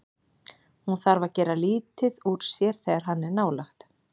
Hún þarf að gera lítið úr sér þegar hann er nálægt.